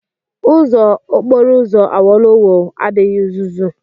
Ụzọ okporo ụzọ Awolowo adịghị uzuzu.